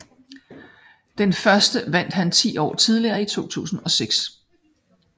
Den første vandt han 10 år tidligere i 2006